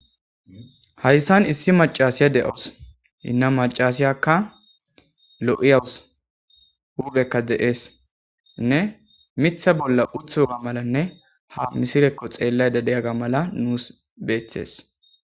Hayssan issi macasiya de'os inna macasiyakka lo'iyawus huubekka de'eesnne mitha bolla uthoga malanne ha misirekko xeellay dadeyaga mala nuus beethees.